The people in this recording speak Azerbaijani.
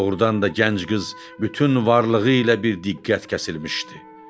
Doğrudan da gənc qız bütün varlığı ilə bir diqqət kəsilmişdi.